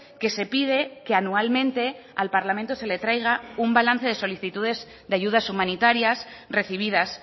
que se pide que anualmente al parlamento se le traiga un balance de solicitudes de ayudas humanitarias recibidas